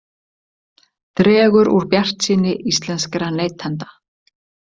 Dregur úr bjartsýni íslenskra neytenda